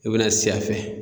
I bɛna si a fɛ.